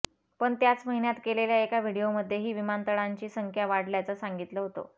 पण त्याच महिन्यात केलेल्या एका व्हीडिओमध्येही विमानतळांची संख्या वाढल्याचं सांगितलं होतं